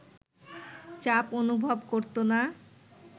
চাপ অনুভব করতো না